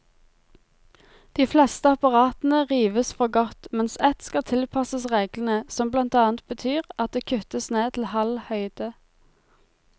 De fleste apparatene rives for godt, mens ett skal tilpasses reglene, som blant annet betyr at det kuttes ned til halv høyde.